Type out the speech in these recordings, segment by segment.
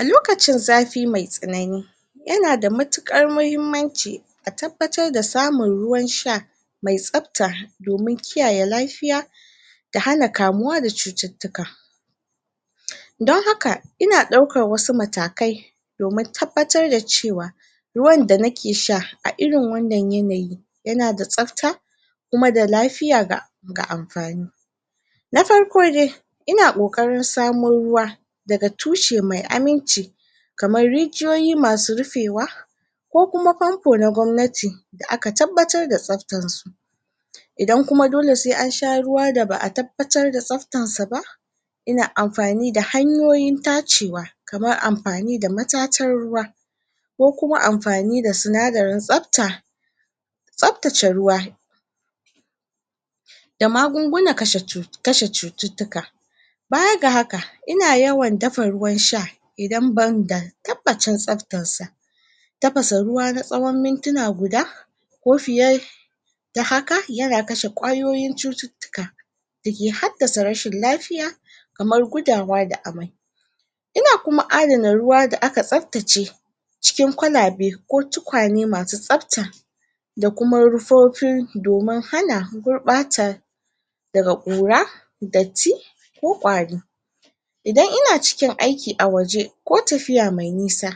A lokacin zafi mai tsannani ya na da matukar mahimmanci a tabbatar da samun ruwan sha mai sabta domin kiyaye lafiya da hana kamuwa da cututuka. Don haka ina daukar wasu matakai domin tabbatar da cewa ruwan da na ke sha, a irin wannan yanayi ya na da sabta kuma da lafiya ga amfani. Na farko dai ina koƙarin samo ruwa da ga tushe mai aminci kamar rijiyoyi masu rufewa ko kuma pompo na gwamnati da aka tabbatar da sabtar su. Idan kuma dole se an sha ruwa da baa tabbatar da sabtan sa ba ina amfani da hanyoyin tacewa kamar amfani da matatan ruwa ko kuma amfani da sunadarin sabta sabtace ruwa da magunguna kashe cututuka baya ga haka, ina yawan dafa ruwan sha idan ban da tabbacen sabtan sa Tabasa ruwa na tsawon mintina guda ko fiye da haka, ya na kashe kwayoyin cututuka da ke hadasa rashin lafiya kamar gudawa da ammai. Ina kuma addana ruwa da a ka sabtace cikin kwalabe ko tukane masu sabta da kuma rufofin domin hana gurbata daga kura, datti ko ƙwari. Idan ina cikin aiki a waje ko tafiya me nisa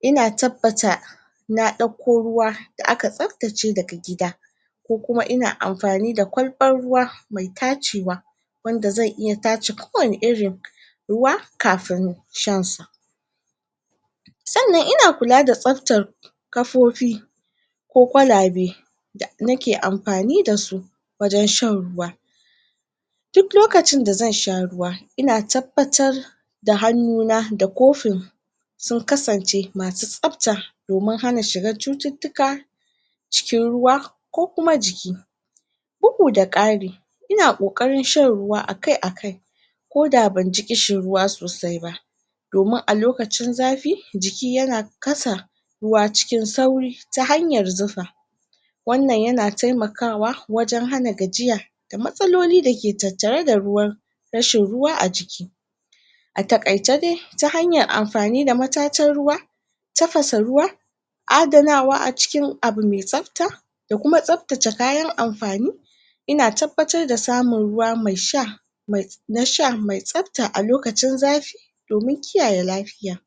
ina tabbata na dauko ruwa da aka sabtace da ga gida ko kuma ina amfani da kwalban ruwa mai tacewa wanda zan iya tace kowani irin ruwa kafun shan sa. Tsannan ina kula da sabtar kafofi ko kwalabe da na ke amfani da su wajen shan ruwa. Duk lokacin da zan sha ruwa, ina tabbatar da hanuna da kofin sun kasance, ma su sabta domin hana shiga cututuka cikin ruwa ko kuma jiki bugu da kari ina ƙoƙarin shan ruwa a kai, a kai ko da ban ji kishi ruwa sosai ba domin a lokacin zafi, jiki ya na kasa ruwa cikin sauri ta hanyar zufa. Wannan ya na taimakawa wajen hana gajiya da matsaloli da ke tattare da ruwa rashin ruwa a jiki. A takaice dai, ta hanyar amfani da matatan ruwa tafasa ruwa addanawa a cikin abu me sabta da kuma sabtace kayan amfani ina tabbatar da samun ruwa me sha mai na sha mai sabta a lokacin zafi domin kiyaye lafiya.